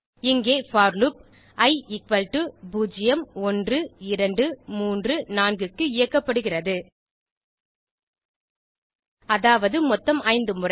இங்கே for loop i 0 1 2 3 4 க்கு இயக்கப்படுகிறது அதாவது மொத்தம் 5 முறை